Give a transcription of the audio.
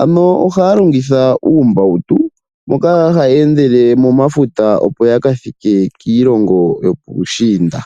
ano ohaya longitha uumbautu moka hayeendele momafuta opo yakathike kiilongo yopuushiinda.